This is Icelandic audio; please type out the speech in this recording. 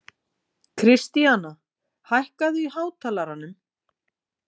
Kristíana, hækkaðu í hátalaranum.